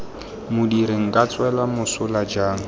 modiri nka tswelwa mosola jang